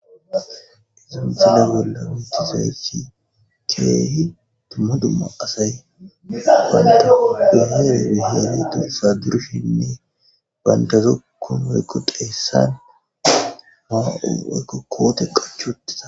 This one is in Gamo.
Isafaa wela witisesi keehi tuma duma asay ganda dahere biheeni dursa durshinne bandazokkon eykko deessan aa wykko koote qachu uttiza.